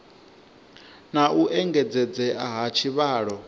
na u engedzedzea ha tshivhalo